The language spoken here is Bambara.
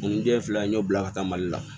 Nin den filɛ nin ye n y'o bila ka taa mali la